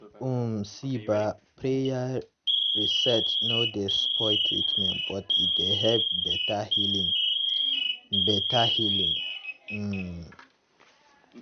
um see bah praya rests nor dey spoil treatment but e dey helep beta healing. beta healing. um